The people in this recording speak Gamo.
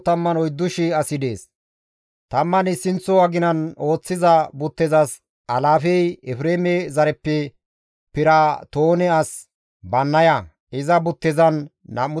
Tammanne issinththo aginan ooththiza buttezas alaafey Efreeme zareppe Piraatoone as Bannaya; iza buttezan 24,000 asi dees.